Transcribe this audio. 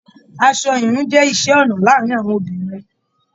Aṣọ ìhun jẹ iṣẹ ọnà láàrín àwọn obìnrin.